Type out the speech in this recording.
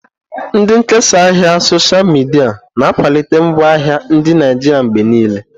Ndị nkesa ahịa osha midia na-akwalite ngwaahịa ndị Naijiria mgbe niile.